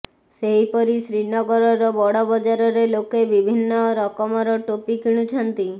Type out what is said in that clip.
ସେହିପରି ଶ୍ରୀନଗରର ବଡ଼ ବଜାରରେ ଲୋକେ ବିଭିନ୍ନ ରକମର ଟୋପି କିଣୁଛନ୍ତି